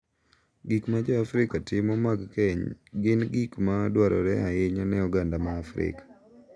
Gik ma jo Afrika timo mag keny gin gik ma dwarore ahinya ne oganda ma Afrika.